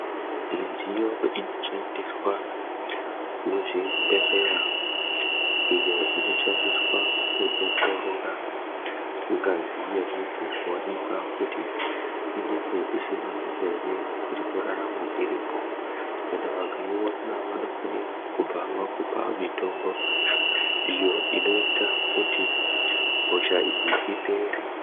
Midziyo inoshandiswa muzvibhedhlera iyo inoshandiswa kuongorora ngazi yemuntu kuonekwa kuti inenge isina hosha ere irikurarama irimwo. Kana vakaiona vanofanira kubva vakupa mitombo iyo inoita kuti hosha iyi ipere.